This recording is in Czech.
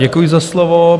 Děkuji za slovo.